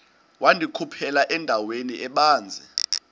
wandikhuphela endaweni ebanzi